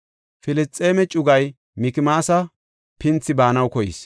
Filisxeeme cugay Mikmaasa pinthi baanaw keyis.